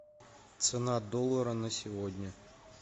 цена доллара на сегодня